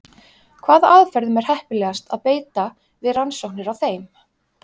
Hvaða aðferðum er heppilegast að beita við rannsóknir á þeim?